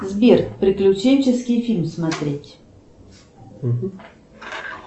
сбер приключенческий фильм смотреть